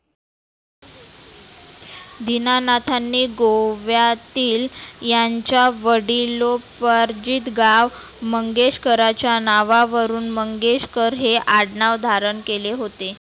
दिनानाथांनी गोव्यातील यांच्या वडीलो पार्जीत गाव मंगेशकराच्या नावा वरुण मंगेशकर हे आडनाव धारण केले होते.